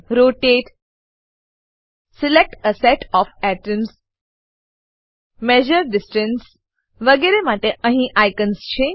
rotate select a set of atoms measure distance વગેરે માટે અહીં આઇકોનો છે